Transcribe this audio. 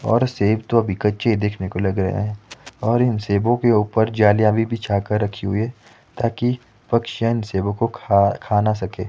और सेव तो अभी कच्चे देखने को लग रहा है और इन सेवो के ऊपर जालियां भी बिछाकर रखी हुई है ताकि पक्षियां इन सेवो कों खा खा ना सके--